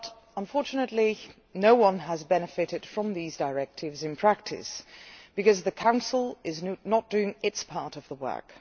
Unfortunately, however, no one has benefited from these directives in practice, because the Council is not doing its part of the work.